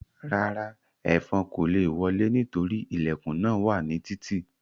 Rárá, ẹ́fọn kò le wọlé nítorí ilẹ̀kùn náà wà ní títì